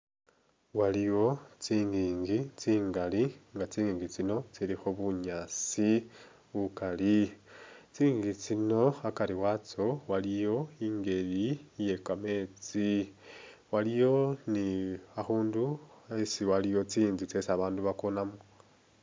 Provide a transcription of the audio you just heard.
Waliwo tsingingi tsingali nga tsingingi tsino tsilikho bunyaasi bukali, tsingingi tsino akari watso waliyo i'ngeli eyekameetsi, waliwo ni a'khundu esi waliwo tsi'nzu tsesi babandu bakonamo